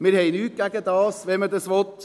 Wir haben nichts dagegen, wenn man das will;